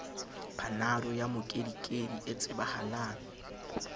panado ya mokedikedi e tsebahala